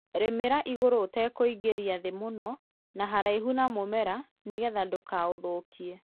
rĩmĩrĩra ĩgũrũ ũtakũĩngĩra thĩ mũno na haraĩhũ na mũmera nĩgetha ndũkaũthũkĩe